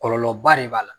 Kɔlɔlɔba de b'a la